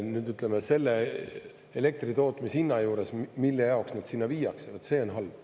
Nüüd, ütleme, selle elektritootmise hinna juures, mille jaoks nad sinna viiakse, vot see on halb.